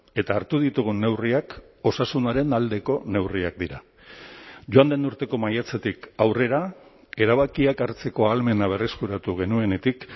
eta hartu ditugun neurriak osasunaren aldeko neurriak dira joan den urteko maiatzetik aurrera erabakiak hartzeko ahalmena berreskuratu genuenetik